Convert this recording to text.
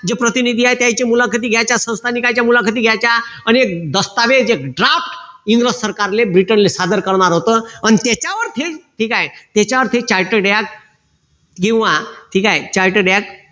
जे प्रतिनिधी आहे त्याच्या मुलाखती घ्यायच्या त्याच्या संस्थयिकांच्या मुलाखती घ्यायच्या आणि दस्तऐवज draft इंग्रज साकारले ब्रिटन सादर करणर होत अन त्याच्यावर ठीक आहे त्याच्यावर ते charted act किंवा ठीक आहे charted act